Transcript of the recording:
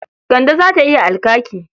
Kande za ta yi alkaki.